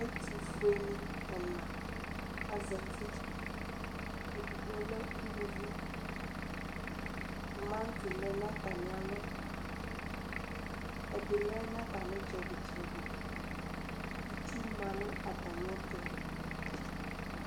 Ɛtʋfʋeni ɛna azati edigbo lɛ ʋlʋvi tumati lɛnʋ atami alɔ ɛdilɛ nʋ atami itsɛdi tsɛdi itsʋ la nʋ atami ɛtʋ